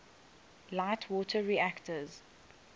light water reactors